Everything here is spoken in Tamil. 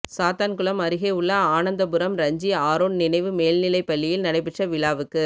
சாத்தான்குளம் அருகே உள்ள ஆனந்தபுரம் ரஞ்சி ஆரோன் நினைவு மேல்நிலைப் பள்ளியில் நடைபெற்ற விழாவுக்கு